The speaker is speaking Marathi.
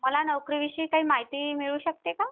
मला नोकरी विषयी काही माहिती मिळू शकते का?